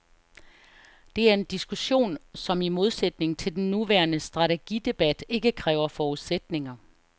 Det er en diskussion som i modsætning til den nuværende strategidebat ikke kræver forudsætninger.